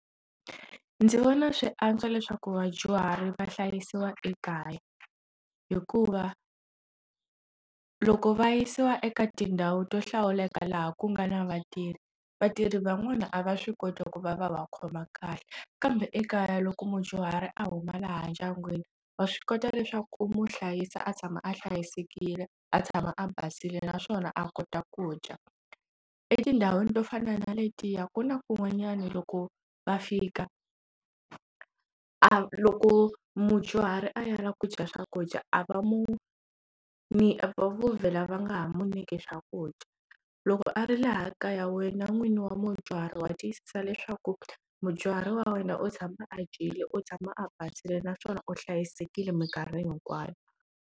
Ndzi vona swi antswa leswaku vadyuhari va hlayisiwa ekaya hikuva loko va yisiwa eka tindhawu to hlawuleka laha ku nga na vatirhi vatirhi van'wana a va swi koti ku va va va khoma kahle kambe ekaya loko mudyuhari a huma laha ndyangwini wa swi kota leswaku u my hlayisa a tshama a hlayisekile a tshama a basile naswona a kota ku dya etindhawini to fana na letiya ku na kun'wanyana loko va fika a loko mudyuhari a ya la ku dya swakudya a va mu ni vo vhela va nga ha munyiki swakudya loko a ri laha kaya wena n'wini wa mudyuhari wa tiyisa leswaku mudyuhari wa wena u tshama a dyile u tshama a basile naswona u hlayisekile minkarhi hinkwayo.